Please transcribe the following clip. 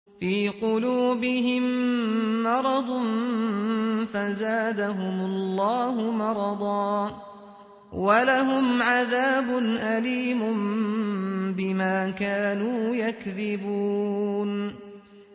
فِي قُلُوبِهِم مَّرَضٌ فَزَادَهُمُ اللَّهُ مَرَضًا ۖ وَلَهُمْ عَذَابٌ أَلِيمٌ بِمَا كَانُوا يَكْذِبُونَ